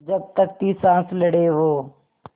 जब तक थी साँस लड़े वो